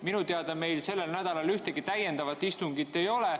" Minu teada meil sellel nädalal ühtegi täiendavat istungit ei ole.